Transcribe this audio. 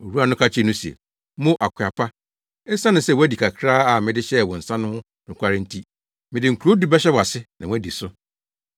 “Owura no ka kyerɛɛ no se, ‘Mo, akoa pa, esiane sɛ woadi kakraa a mede hyɛɛ wo nsa no ho nokware nti, mede nkurow du bɛhyɛ wʼase na woadi so.’